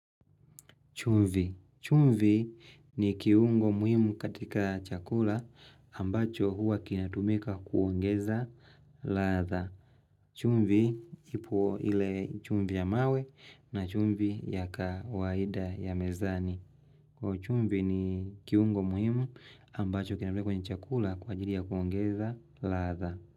Chumvi. Chumvi ni kiungo muhimu katika chakula ambacho huwa kinatumika kuongeza latha. Chumvi ipuo ile chumvi ya mawe na chumvi ya kawaida ya mezani. Chumvi ni kiungo muhimu ambacho kinatumika kuongeza latha.